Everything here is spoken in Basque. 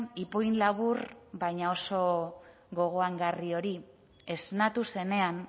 ipuin labur baina oso gogoangarri hori esnatu zenean